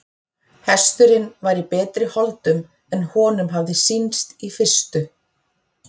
Hesturinn var í betri holdum en honum hafði sýnst í fyrstu.